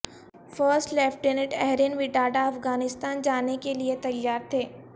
first lieutenant ایرہن وٹاڈا افغانستان جانے کے لیئے تیار تھے